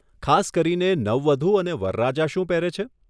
ખાસ કરીને, નવવધુ અને વરરાજા શું પહેરે છે?